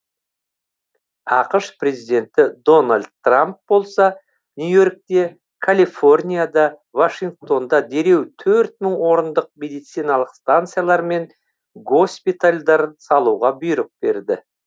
ақш президенті дональд трамп болса нью и оркте калифорнияда вашингтонда дереу төрт мың орындық медициналық станциялар мен госпитальдар салуға бұйрық берді